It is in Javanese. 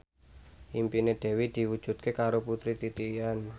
impine Dewi diwujudke karo Putri Titian